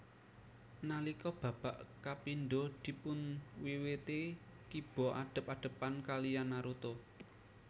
Nalika babak kapindho dipunwiwiti Kiba adep adepan kaliyan Naruto